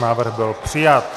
Návrh byl přijat.